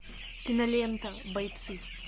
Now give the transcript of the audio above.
кинолента бойцы